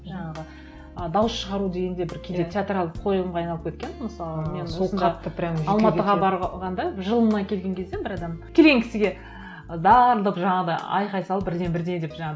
жаңағы ы дауыс шығару деген де бір кейде театралды қойылымға айналып кеткен мысалы барғанда жылына келген кезде бір адамның келген кісіге дарылдап жаңағыдай айқай салып бірдеңе бірдеңе деп жаңа